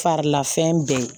Farila fɛn bɛɛ